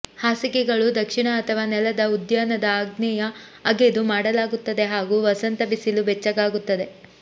ಹಾಸಿಗೆಗಳು ದಕ್ಷಿಣ ಅಥವಾ ನೆಲದ ಉದ್ಯಾನದ ಆಗ್ನೇಯ ಅಗೆದು ಮಾಡಲಾಗುತ್ತದೆ ಹಾಗೂ ವಸಂತ ಬಿಸಿಲು ಬೆಚ್ಚಗಾಗುತ್ತದೆ